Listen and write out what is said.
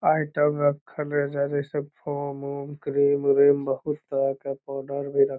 item रखल एजा जैसा फोम उम क्रीम विरिम बहुत तरह के पाउडर भी रख --